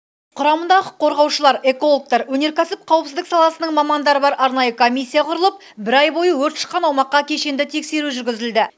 құрамында құқық қорғаушылар экологтар өнеркәсіп қауіпсіздік саласының мамандары бар арнайы комиссия құрылып бір ай бойы өрт шыққан аумаққа кешенді тексеру жүргізілді